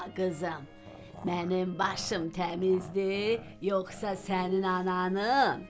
Ay qızım, mənim başım təmizdir, yoxsa sənin ananın?